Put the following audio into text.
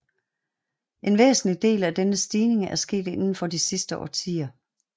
En væsentlig del af denne stigning er sket inden for de sidste årtier